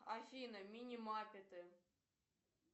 афина мини маппеты